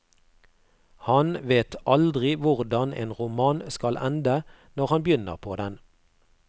Han vet aldri hvordan en roman skal ende når han begynner på den.